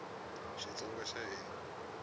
xitsonga xa hina